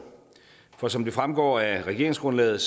for som det fremgår af regeringsgrundlaget